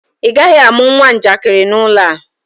Ị gaghị amụ nwa njakịrị n'ụlọ a!